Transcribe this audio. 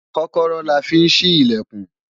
kọ́kọ́rọ́ la fi ń ṣí ìlẹ̀kùn